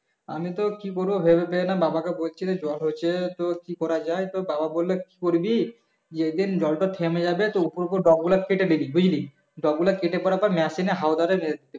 আমি তো কি করবো ভেবে পাই না বাবাকে বলছিলাম জল হচ্ছে তো কি করা যাই তো বাবা বললো কি করবি যেদিন জল তা থেমে যাবে তো উপর উপর ডগা গুলো কেটে দিবি বুঝলি ডগা গুলো কেটে করার পর machine এ হওয়া ধরে